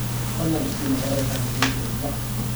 fadlan i sii nambarada kaadhka guusha ee usbuucan